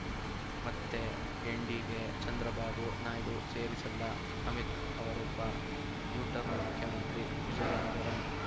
ಮತ್ತೆ ಎನ್‌ಡಿಗೆ ಚಂದ್ರಬಾಬು ನಾಯ್ಡು ಸೇರಿಸಲ್ಲ ಅಮಿತ್‌ ಅವರೊಬ್ಬ ಯು ಟರ್ನ್‌ ಮುಖ್ಯಮಂತ್ರಿ ವಿಜಿಯನಗರಂ